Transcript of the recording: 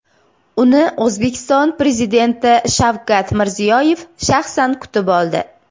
Uni O‘zbekiston Prezidenti Shavkat Mirziyoyev shaxsan kutib oldi.